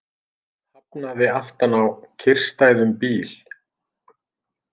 Hafnaði aftan á kyrrstæðum bíl